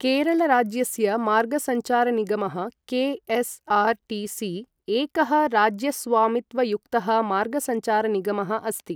केरळराज्य मार्गसञ्चारनिगमः के.एस्.आर्.टि.सि एकः राज्यस्वामित्वयुक्तः मार्गसञ्चारनिगमः अस्ति।